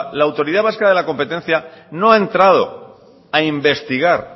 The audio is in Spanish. públicos la autoridad vasca de la competencia no ha entrado a investigar